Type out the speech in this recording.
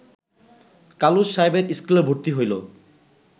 কালুস সাহেবের স্কুলে ভর্তি হইল